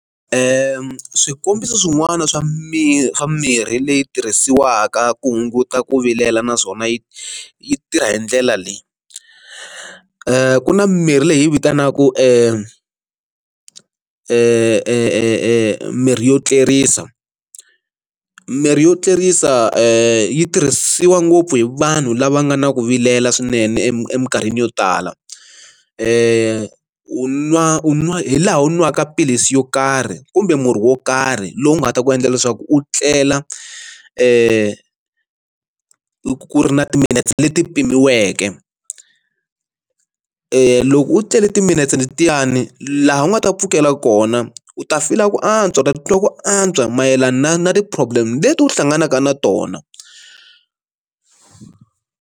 swikombiso swin'wana swa mimirhi leyi tirhisiwaka ku hunguta ku vilela naswona yi yi tirha hi ndlela leyi ku na mirhi leyi vitanaka ku emirhi yo tlerisa mirhi yo tlerisa yi tirhisiwa ngopfu hi vanhu lava nga na ku vilela swinene eminkarhini yo tala i u nwa u nwa hi laha u n'waka maphilisi yo karhi kumbe murhi wo karhi lowu nga ta ku endla leswaku u tlela ka ku ri na timinete leti pimiweke loko u tlele timinetse letiyani laha u nga ta pfukela kona u ta fila ku antswa tatiwa ku antswa mayelana na na ti problem leti u hlanganaka na tona.